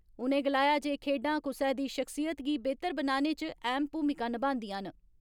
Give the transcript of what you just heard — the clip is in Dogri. उनें गलाया जे खेड्डां कुसै दी शख्सियत गी बेहतर बनाने इच अहम भूमिा निभांदियां न।